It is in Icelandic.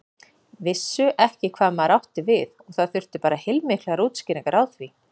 Vissu ekki hvað maður átti við og það þurfti bara heilmiklar útskýringar á því.